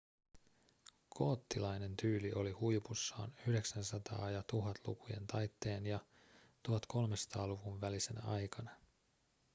goottilainen tyyli oli huipussaan 900- ja 1000-lukujen taitteen ja 1300-luvun välisenä aikana